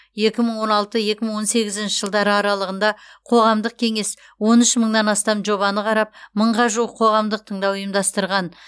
екі мың он алты екі мың он сегізінші жылдары аралығында қоғамдық кеңес он үш мыңнан астам жобаны қарап мыңға жуық қоғамдық тыңдау ұйымдастырған